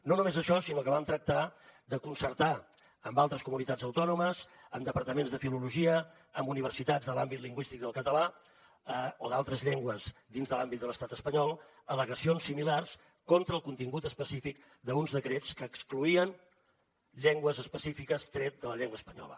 no només això sinó que vam tractar de concertar amb altres comunitats autònomes amb departaments de filologia amb universitats de l’àmbit lingüístic del català o d’altres llengües dins de l’àmbit de l’estat espanyol al·legacions similars contra el contingut específic d’uns decrets que excloïen llengües específiques tret de la llengua espanyola